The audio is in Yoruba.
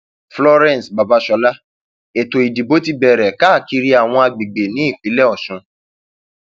florence babasola ètò ìdìbò ti bẹrẹ káàkiri àwọn àgbègbè nípínlẹ ọsùn